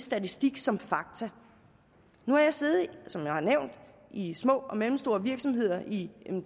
statistik som fakta nu har jeg siddet som jeg har nævnt i små og mellemstore virksomheder i